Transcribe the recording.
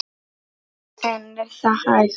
En er það hægt?